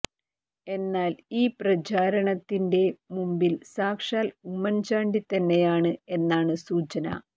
എന്നാൽ ഈ പ്രചാരണത്തിന്റെ മുമ്പിൽ സാക്ഷാൽ ഉമ്മൻ ചാണ്ടി തന്നെയാണ് എന്നാണ് സൂചന